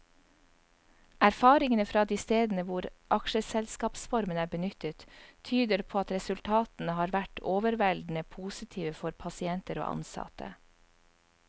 Erfaringene fra de stedene hvor aksjeselskapsformen er benyttet, tyder på at resultatene har vært overveldende positive for pasienter og ansatte.